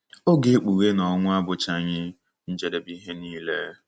Ọ ga-ekpughe na ọnwụ abụchaghị njedebe ihe nile.